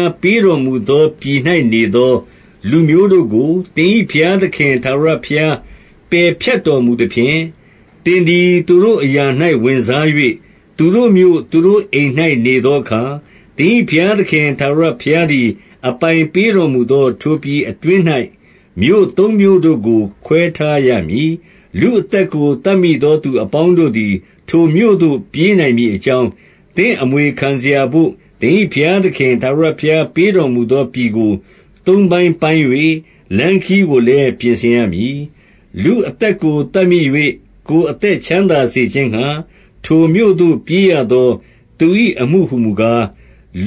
ား ပေးတော်မူ သော ပြည်၌နေသော လူမျိုးတို့ကို သင်၏ဘုရားသခင် ထာဝရဘုရား ပယ်ဖြတ်တော်မူသဖြင့်၊ သင်သည် သူတို့ အရာ၌ ဝင်စား၍၊ သူတို့မြို့၊ သူတို့အိမ်၌ နေသောအခါ၊ 2 သင်၏ဘုရားသခင် ထာဝရဘုရားသည် အပိုင် ပေးတော်မူသော ထိုပြည်အတွင်း၌ မြို့သုံးမြို့တို့ကို ခွဲထား ရမည်။ 3 လူအသက်ကို သတ်မိသောသူအပေါင်းတို့သည် ထိုမြို့သို့ ပြေးနိုင်မည်အကြောင်း၊ သင့်အမွေခံစရာဘို့ သင်၏ဘုရားသခင် ထာဝရဘုရားပေးတော်မူသော ပြည် ကို သုံးပိုင်းပိုင်း၍ လမ်းခရီးကိုလည်း ပြင်ဆင်ရမည်။ 4 လူအသက်ကို သတ်မိ၍၊ ကိုယ်အသက် ချမ်းသာ စေခြင်းငှာ၊ ထိုမြို့သို့ပြေးရသော သူ၏အမှုဟူကား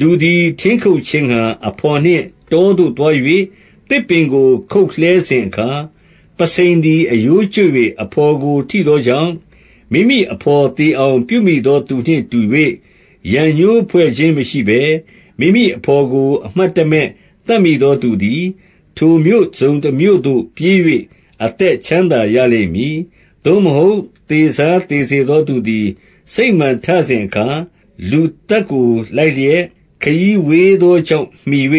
၊ 5 လူ သည် ထင်းခုတ်ခြင်းငှာ အဘော်နှင့် တောသို့သွား၍ သစ်ပင်ကို ခုတ်လှဲစဉ်အခါ၊ ပုဆိန်သည် အရိုးကျွတ်၍ အဘော်ကို ထိသောကြောင့်၊ မိမိအဘော်သေအောင် ပြုမိ သောသူနှင့်တူ၍၊ ရန်ငြိုးဖွဲ့ခြင်းမရှိဘဲ မိမိအဘော်ကို အမှတ်တမဲ့ သတ်မိသောသူသည်၊ ထိုမြို့တစုံတမြို့သို့ ပြေး၍ အသက်ချမ်းသာရလိမ့်မည်။ 6 သို့မဟုတ် သေစားသေစေသောသူသည် စိတ် မာန်ထစဉ်အခါ၊ လူသတ်ကို လိုက်လျက် ခရီးဝေးသော ကြောင့် မှီ၍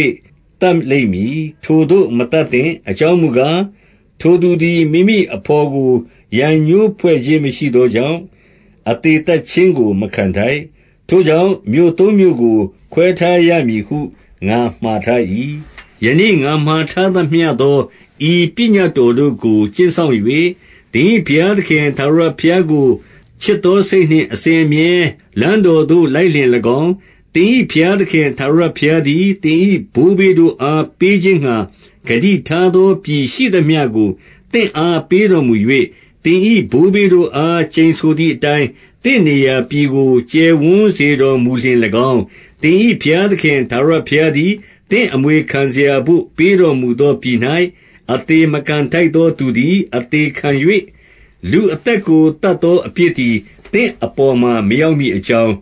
သတ်လိမ့်မည်။ ထိုသို့ မသတ်သင့်။ အကြောင်းမူကား၊ ထိုသူသည် မိမိအဘော်ကို ရန်ငြိုးဖွဲ့ ခြင်း မရှိသောကြောင့် အသေသတ်ခြင်းကို မခံထိုက်။ 7 ထိုကြောင့် မြို့သုံးမြို့ကို ခွဲထားရမည်ဟု ငါမှာ ထား၏။ 8 ယနေ့ ငါမှာထားသမျှသော ဤပညတ်တော် တို့ကို ကျင့်စောင့်၍၊ သင်၏ဘုရားသခင် ထာဝရဘုရား ကို ချစ်သောစိတ်နှင့် အစဉ်အမြဲ လမ်းတော်သို့လိုက်လျှင် ၎င်း၊ 9 သင်၏ဘုရားသခင် ထာဝရဘုရားသည်၊ သင်၏ ဘိုးဘေးတို့အား ပေးခြင်းငှာ ဂတိထားသော ပြည်ရှိသမျှ ကို သင့်အား ပေးတော်မူ၍၊ သင်၏ဘိုးဘေးတို့အား ကျိန်ဆိုသည်အတိုင်း၊ သင့်နေရာပြည်ကို ကျယ်ဝန်းစေ တော်မူလျှင်၎င်း၊ 10 သင်၏ဘုရားသခင် ထာဝရဘုရားသည် သင့်အမွေခံစရာဘို့ ပေးတော်မူသောပြည်၌ အသေမခံ ထိုက်သောသူသည် အသေခံ၍ လူ့အသက်ကို သတ်သော အပြစ်သည် သင့်အပေါ်မှာ မရောက်မည်အကြောင်း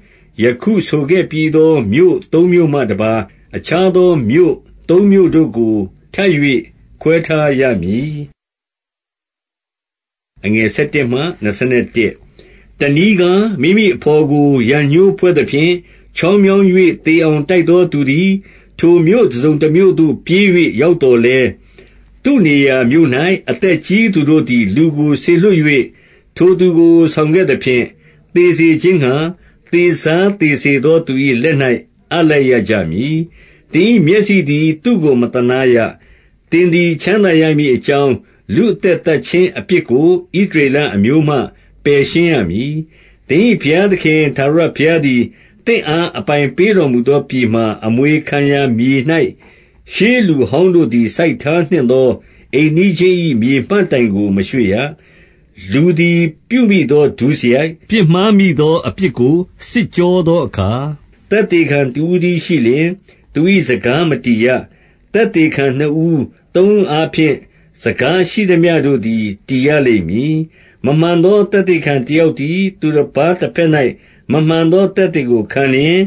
၊ ယခုဆိုခဲ့ပြီးသော မြို့သုံးမြို့မှတပါး၊ အခြားသော မြို့သုံးမြို့ကို ထပ်၍ခွဲထားရမည်။ 11 တနည်းကား၊ မိမိအဘော်ကို ရန်ငြိုးဖွဲ့သဖြင့် ချောင်းမြောင်း၍ သေအောင်တိုက်သောသူသည် ထိုမြို့ တစုံတမြို့သို့ ပြေး၍ ရောက်သော်လည်း၊ 12 သူ့နေရာမြို့၌ အသက်ကြီးသူတို့သည် လူကို စေလွှတ်၍ ထိုသူကို ဆောင်ခဲ့သဖြင့်၊ သေစေခြင်းငှာ သေစားသေစေသောသူ၏ လက်၌ အပ်လိုက်ရကြမည်။ 13 သင်၏မျက်စိသည် သူ့ကို မသနားရ၊ သင်သည် ချမ်းသာရမည်အကြောင်း၊ လူ့အသက်သတ်ခြင်းအပြစ်ကို ဣသရေလအမျိုးမှ ပယ်ရှင်းရမည်။ 14 သင်၏ဘုရားသခင် ထာဝရဘုရားသည် သင့်အား အပိုင်ပေးတော်မူသောပြည်မှာ အမွေခံရာ မြေ၌ ရှေးလူဟောင်းတို့သည် စိုက်ထားနှင့်သော အိမ်နီး ချင်း၏ မြေမှတ်တိုင်ကို မရွှေ့ရ။ 15 လူသည် ပြုမိသော ဒုစရိုက်၊ ပြစ်မှားမိသော အပြစ်ကို စစ်ကြောသောအခါ၊ သက်သေခံတဦးတည်း ရှိလျှင် သူ၏စကားမတည်ရ။ သက်သေခံနှစ်ဦး၊ သုံးဦး အားဖြင့် စကားရှိသမျှတို့သည် တည်ရလိမ့်မည်။ 16 မမှန်သော သက်သေခံတယောက်သည်၊ သူတပါးတဘက်၌ မမှန်သောသက်သေကို ခံလျှင်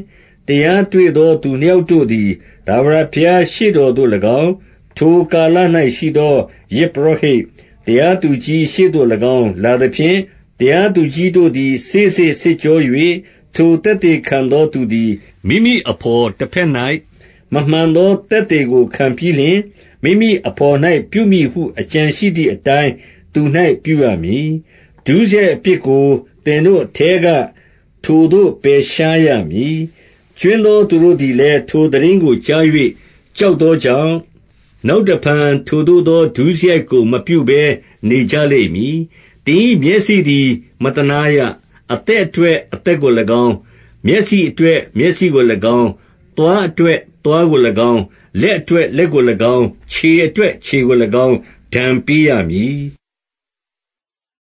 ၊ 17 တရားတွေ့သောသူနှစ်ယောက်တို့သည် ထာဝရ ဘုရားရှေ့တော်သို့၎င်း၊ ထိုကာလ၌ရှိသော ယဇ်ပုရောဟိတ်၊ တရားသူကြီးရှေ့သို့၎င်း လာသဖြင့်၊ 18 တရားသူကြီးတို့သည် စေ့စေ့စစ်ကြော၍ ထိုသက်သေခံသောသူသည် မိမိအဘော်တဘက်၌ မမှန် သောသက်သေကို ခံပြီးလျှင်၊ 19 မိမိအဘော်၌ ပြုမည်ဟု အကြံရှိသည်အတိုင်း သူ၌ ပြုရမည်။ ဒုစရိုက်အပြစ်ကို သင်တို့အထဲက ထိုသို့ ပယ်ရှားရမည်။ 20 ကြွင်းသောသူတို့သည်လည်း ထိုသိတင်းကို ကြား၍ ကြောက်သောကြောင့်၊ နောက်တဖန် ထိုသို့သော ဒုစရိုက်ကို မပြုဘဲနေကြလိမ့်မည်။ 21 သင်၏မျက်စိသည် မသနားရ။ အသက် အတွက် အသက်ကို၎င်း၊ မျက်စိအတွက် မျက်စိကို၎င်း၊ သွားအတွက် သွားကို၎င်း၊ လက်အတွက် လက်ကို၎င်း၊ ခြေအတွက် ခြေကို၎င်း ဒဏ်ပေးရမည်။